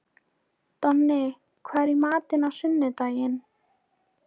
Donni, hvað er í matinn á sunnudaginn?